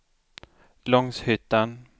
Långshyttan